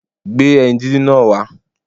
Gbé ẹyin díndín náà wá